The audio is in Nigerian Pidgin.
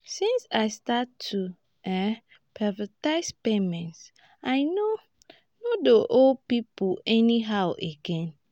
since i start to um prioritize payments i no no dey owe pipo anyhow again.